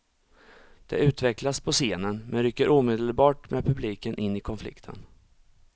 Det utvecklas på scenen men rycker omedelbart med publiken in i konflikten.